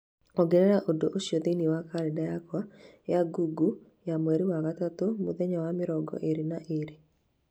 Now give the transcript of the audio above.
ongerera ũndũ ũcio thĩinĩ wa kalenda yakwa ya google ya mweri wa gatatũ mũthenya wa mĩrongo ĩĩrĩ na ĩĩrĩ